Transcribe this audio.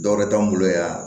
Dɔwɛrɛ t'an bolo yan